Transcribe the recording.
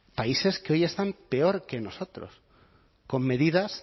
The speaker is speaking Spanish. países que hoy están peor que nosotros con medidas